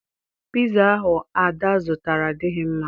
Piza ahụ Ada zụtara adịghị mma